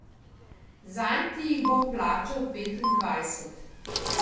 Zanj ti jih bom plačal petindvajset.